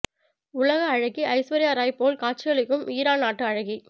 உலக அழகி ஐஸ்வர்யா ராய் போல் காட்சியளிக்கும் ஈரான் நாட்டு அழகி